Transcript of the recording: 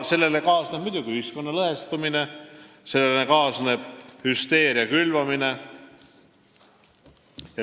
Sellega kaasneb muidugi ühiskonna lõhestumine, sellega kaasneb hüsteeria külvamine.